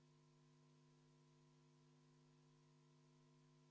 Eesti Konservatiivse Rahvaerakonna fraktsiooni palutud vaheaeg on lõppenud.